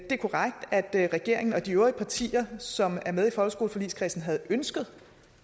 det er korrekt at regeringen og de øvrige partier som er med i folkeskoleforligskredsen havde ønsket